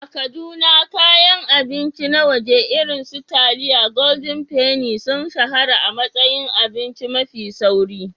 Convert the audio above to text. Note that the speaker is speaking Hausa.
A Kaduna, kayan abinci na waje irin su taliyar Golden penny sun shahara a matsayin abinci mafi sauri.